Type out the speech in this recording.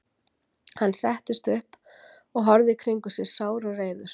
Hann settist upp og horfði í kringum sig, sár og reiður.